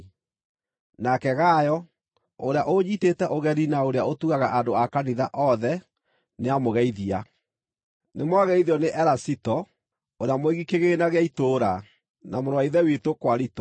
Nake Gayo, ũrĩa ũnyiitĩte ũgeni na ũrĩa ũtugaga andũ a kanitha othe, nĩamũgeithia. Nĩmwageithio nĩ Erasito, ũrĩa mũigi kĩgĩĩna gĩa itũũra, na mũrũ wa ithe witũ Kwarito. (